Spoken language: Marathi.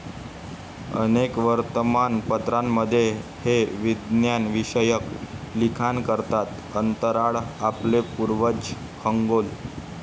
अनेक वर्तमानपत्रांमध्ये हे विज्ञानविषयक लिखाण करतात अंतराळ, आपले पूर्वज, खगोल.